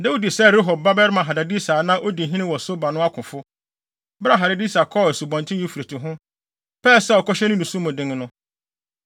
Dawid sɛe Rehob babarima Hadadeser a na odi hene wɔ Soba no akofo, bere a Hadadeser kɔɔ Asubɔnten Eufrate ho, pɛe sɛ ɔkɔhyɛ ne nniso mu den no.